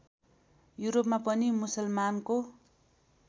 युरोपमा पनि मुसलमानको